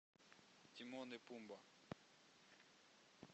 тимон и пумба